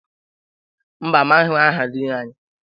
Mbà, amaghị aha Diin anyị.